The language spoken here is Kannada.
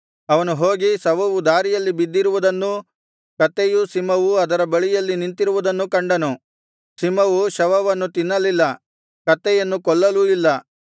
ಅವನು ಹೋಗಿ ಶವವು ದಾರಿಯಲ್ಲಿ ಬಿದ್ದಿರುವುದನ್ನೂ ಕತ್ತೆಯೂ ಸಿಂಹವೂ ಅದರ ಬಳಿಯಲ್ಲಿ ನಿಂತಿರುವುದನ್ನು ಕಂಡನು ಸಿಂಹವು ಶವವನ್ನು ತಿನ್ನಲಿಲ್ಲ ಕತ್ತೆಯನ್ನು ಕೊಲ್ಲಲೂ ಇಲ್ಲ